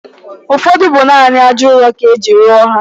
Ụfọdụ bụ naanị ájá ụrọ ka e ji rụọ ha.